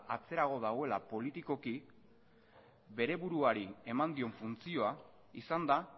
atzerago dagoela politikoki bere buruari eman dion funtzioa izan da